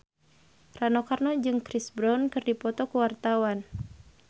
Rano Karno jeung Chris Brown keur dipoto ku wartawan